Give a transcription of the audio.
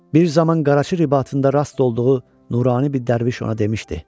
Bir zaman Qaraçı ribatında rast olduğu nurani bir dərviş ona demişdi: